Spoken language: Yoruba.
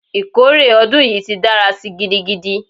Ikore odun yi ti dara si gidigidi!